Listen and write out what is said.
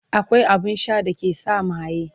akwai abun Sha da ke sa maye